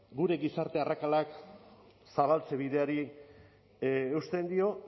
gure gizarte arrakalak zabaltze bideari eusten dio